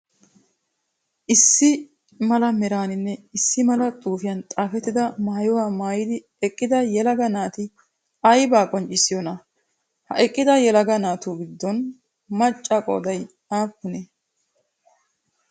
Issi mala meraanine issi mala xuufiyan xaafettida maayuwaa maayidi eqqida yelaga naati ayibaa qonccissiyoonaa? Ha eqqida yelaga naatu giddon maccaa qooday aappunee?